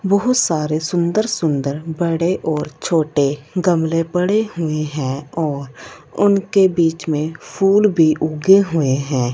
बहुत सारे सुंदर-सुंदर बड़े और छोटे गमले पड़े हुए हैं और उनके बीच में फूल भी उगे हुए हैं।